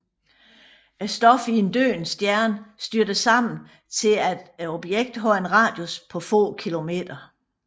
Stoffet i en døende stjerne styrter sammen til at objektet har en radius på få kilometer